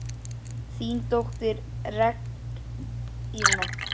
Þín dóttir, Regína.